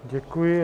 Děkuji.